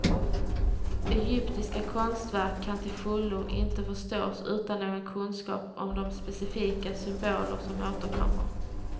Egyptiska konstverk kan till fullo inte förstås utan någon kunskap om de specifika symboler som återkommer.